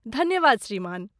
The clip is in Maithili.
धन्यवाद श्रीमान।